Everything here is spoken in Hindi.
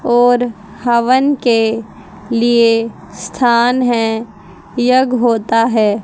और हवन के लिए स्थान है यज्ञ होता है।